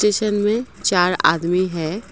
चार आदमी है।